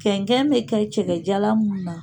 Kɛnkɛn bɛ kɛ cɛkɛja mun na